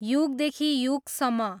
युगदेखि युगसम्म